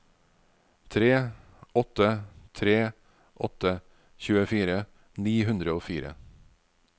tre åtte tre åtte tjuefire ni hundre og fire